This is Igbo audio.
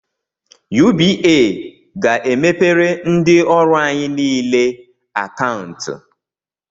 UBA ga-emepere ndị ọrụ anyị nile akantu